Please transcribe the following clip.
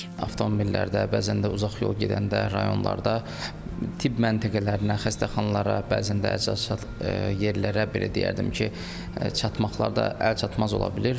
Avtomobillərdə, bəzən də uzaq yol gedəndə, rayonlarda tibb məntəqələrinə, xəstəxanalara, bəzən də əczaçılıq yerlərə, belə deyərdim ki, çatmaqlarda əlçatmaz ola bilir.